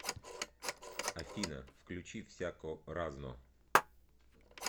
афина включи всяко разно